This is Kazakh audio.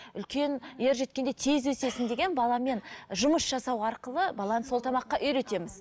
үлкен ер жеткенде тез өсесің деген баламен жұмыс жасау арқылы баланы сол тамаққа үйретеміз